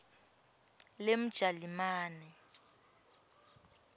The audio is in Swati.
lemjalimane